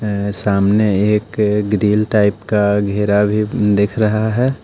अ सामने एक grill type का घेरा भी दिख रहा है।